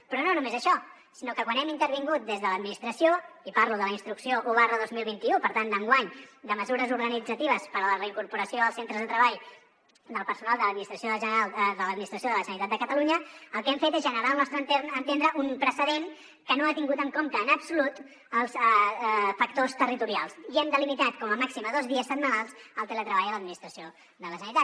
però no només això sinó que quan hi hem intervingut des de l’administració i parlo de la instrucció un dos mil vint u per tant d’enguany de mesures organitzatives per a la reincorporació als centres de treball del personal de l’administració de la generalitat de catalunya el que hem fet és generar al nostre entendre un precedent que no ha tingut en compte en absolut els factors territorials i hem delimitat com a màxim a dos dies setmanals el teletreball a l’administració de la generalitat